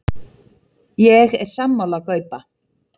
Ég er sammála Gaupa.